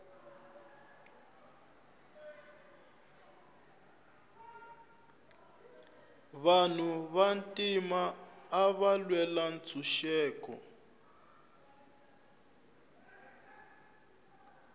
vanhu va ntima ava lwela ntshuxeko